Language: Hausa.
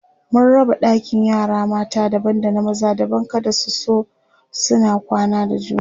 sun raba ɗakin yara mata daban da na maza kada su zo suna kwana da juna